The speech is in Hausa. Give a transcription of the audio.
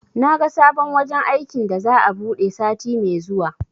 Naga sabon wajen aikin da za'a buɗe sati me zuwa